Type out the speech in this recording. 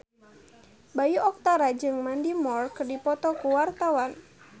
Bayu Octara jeung Mandy Moore keur dipoto ku wartawan